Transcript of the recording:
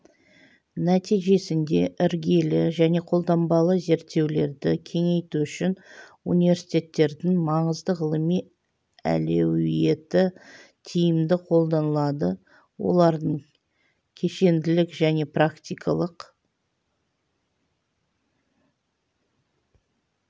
нәтижесінде іргелі және қолданбалы зерттеулерді кеңейту үшін университеттердің маңызды ғылыми әлеуеті тиімді қолданылады олардың кешенділік және практикалық